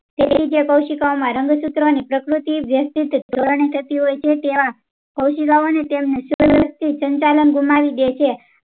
તેથી તે કોઉસીકાઓ માં રંગસૂત્રો ની પ્રકૃતિ વ્યવસ્થિક ધોરણે થતી હોય છે તેવા કોઉસીકાઓ તેમને ને સંચાલન ગુમાવી દે છે